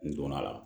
N donna a la